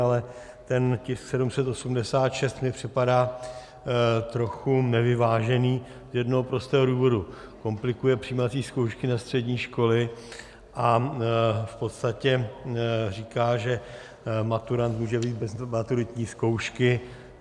Ale ten tisk 786 mi připadá trochu nevyvážený z jednoho prostého důvodu - komplikuje přijímací zkoušky na střední školy a v podstatě říká, že maturant může vyjít bez maturitní zkoušky.